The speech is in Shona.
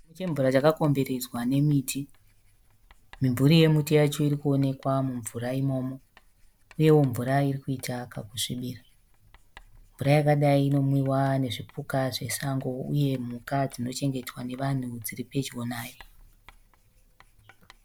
Chidziva chemvura chaka komberedzwa nemiti. Mimvuri yemiti yacho irikuonekwa mumvura imomo. Uyewo mvura irikuita kakusvibira. Mvura yakadai inomwiwa nezvipuka zvesango uye mhuka dzinochengetwa nevanhu dziripedyo nayo.